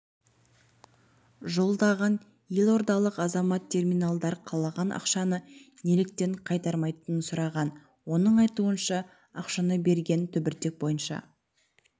жолдаған елордалық азамат терминалдар қалған ақшаны неліктен қайтармайтынын сұраған оның айтуынша ақшаны берген түбіртек бойынша